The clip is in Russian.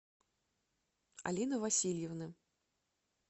алины васильевны